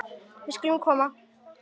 Við skulum koma